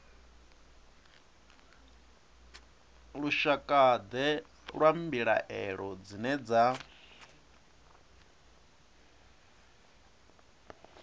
lushakade lwa mbilaelo dzine dza